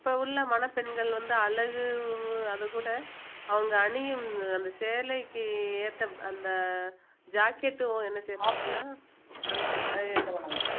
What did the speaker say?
இப்ப உள்ள மணப்பெண்கள் வந்து அழகு அதுகூட அவங்க அணியும் அந்த சேலைக்கு ஏத்த அந்த jacket உம் என்ன செய்வாங்கன்னா அந்த என்ன